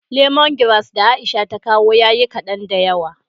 " lemongrass " da Aisha ta kawo ya yi kaɗan da yawa.